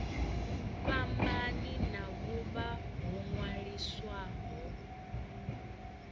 fhambani na vhuvha ho ṅwaliswaho